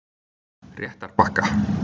Réttarbakka